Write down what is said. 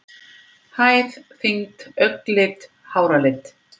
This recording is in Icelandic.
Hæð, þyngd, augnlit, háralit.